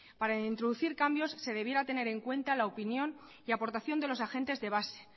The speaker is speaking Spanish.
para introducir cambios se debiera tener en cuenta la opinión y la aportación de los agentes de base